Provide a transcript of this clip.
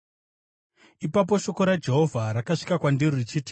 Ipapo shoko raJehovha rakasvika kwandiri richiti,